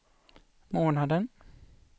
månaden